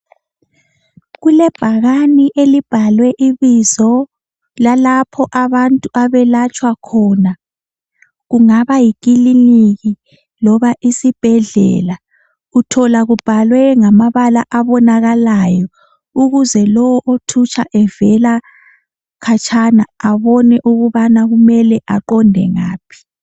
Kulebhakane elibhalwe ibizo lalapho abantu abelatshwa khona kungaba yikilinika loba isibhedlela kuthola kubhalwe ngamabala abonalalayo ukuze lo othutsha evela khatshana abone ukubana kumele aqonde ngaphi